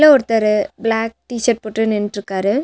உள்ள ஒருத்தரு black T-shirt போட்டு நின்ட்ருக்காரு.